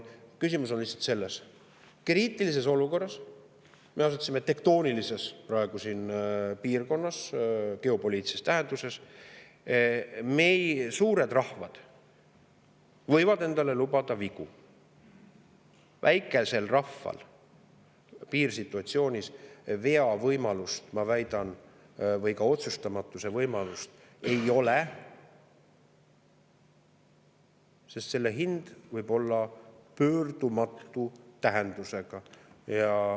Küsimus on lihtsalt selles, et kriitilises olukorras – me asume praegu tektoonilises piirkonnas geopoliitilises tähenduses – võivad suured rahvad endale lubada vigu, väikesel rahval piirsituatsioonis veavõimalust, ma väidan, või otsustamata jätmise võimalust ei ole, sest selle hind võib olla pöördumatu tähendusega.